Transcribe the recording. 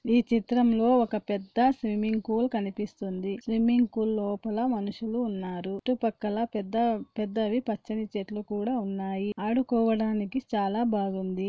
ఈ చిత్రంలో ఒక పెద్ద స్విమ్మింగ్ కూల్ కనిపిస్తుంది. ఈ స్విమ్మింగ్ కూల్ లోపల మనుషులు ఉన్నారు. చుట్టూ పక్కల పెద్ద పెద్దవి పచ్చని చెట్లు కూడా ఉన్నాయి. ఆడుకోవడానికి చాలా బాగుంది.